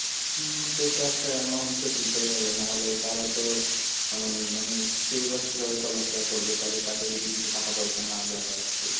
উম সে তো একটা amount তো দিতেই হবে নাহলে তারও তো, মানে সেই বা কিভাবে চলাফেরা করবে তাহলে তাকে যদি কিছু টাকা পয়সা না দেওয়া হয় তাহলে।